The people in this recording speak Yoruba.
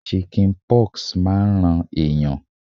Chicken pox máa ń ran ẹ̀yàn.